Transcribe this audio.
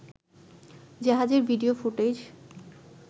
জাহাজের video footage